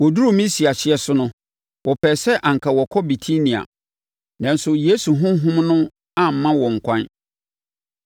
Wɔduruu Misia hyeɛ so no, wɔpɛɛ sɛ anka wɔkɔ Bitinia, nanso Yesu Honhom no amma wɔn ɛkwan.